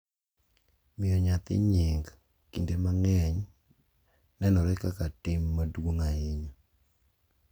Miyo nyathi nying kinde mang’eny nenore kaka tim maduong’ ahinya,